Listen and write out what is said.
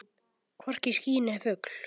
Hvorki ský né fugl.